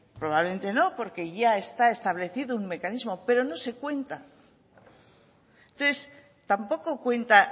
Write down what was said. probablemente no porque ya está establecido un mecanismo pero no se cuenta entonces tampoco cuenta